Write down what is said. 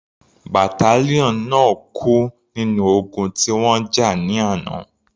Battalion náà kú nínú ogun tí wọ́n jà ní àná.